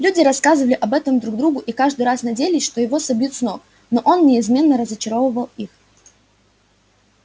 люди рассказывали об этом друг другу и каждый раз надеялись что его собьют с ног но он неизменно разочаровывал их